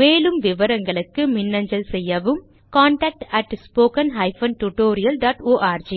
மேலும் விவரங்களுக்கு மின்னஞ்சல் செய்யவும் contactspoken tutorialorg